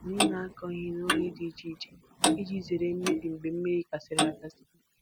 Anyị na-akọ ihe n’oge dị iche iche iji zere mmebi mgbe mmiri gasịrị. gasịrị.